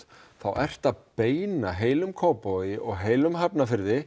þá ertu að beina heilum Kópavogi heilum Hafnarfirði